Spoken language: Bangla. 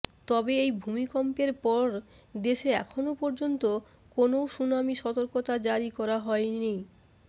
তবে এই ভূমিকম্পের পর দেশে এখনও পর্যন্ত কোনও সুনামি সতর্কতা জারি করা হয়নি